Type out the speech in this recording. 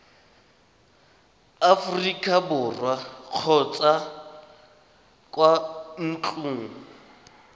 aforika borwa kgotsa kwa ntlong